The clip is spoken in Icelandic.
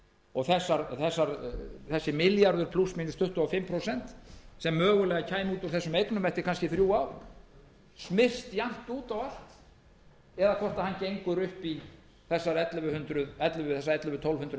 og þessi milljarður plús mínus tuttugu og fimm prósent sem mögulega kæmi út úr þessum eignum eftir kannski þrjú ár smyrst jafnt út á allt eða hvort hann gengur upp í þessa ellefu hundruð til tólf hundruð